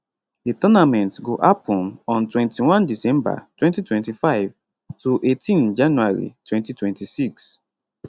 di tournament go happun on 21 december 2025 to 18 january 2026